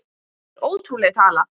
Það er ótrúleg tala.